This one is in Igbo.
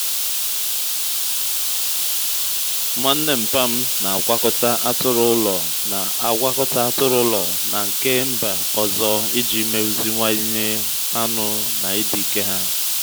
nwanne nmpa'm na-agwakọta atụrụ ụlọ na-agwakọta atụrụ ụlọ na nke mba ọzọ iji meziwanye anụ na ịdị ike ha.